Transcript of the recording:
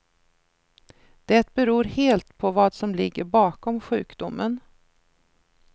Det beror helt på vad som ligger bakom sjukdomen.